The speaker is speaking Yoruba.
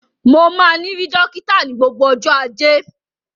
Mo máa ni ri dokita ni gbogbo ọjọ ajé.